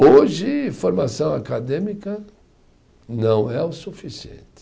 Hoje, formação acadêmica não é o suficiente.